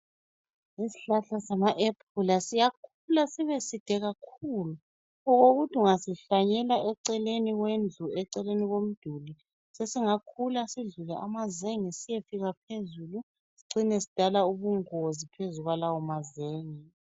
Isihlahla sama ephula siyakhula sibeside kakhulu okokuthi ungasihlanyela eceleni kwendlu, eceleni komduli sesingakhula sidlule amazenge siyefika phezulu sicine sidala ubungozi phezu kwalawo mazenge.